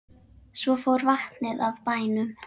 Svo fór vatnið af bænum.